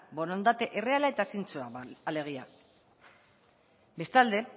borondate erreala eta zintzoa alegia bestalde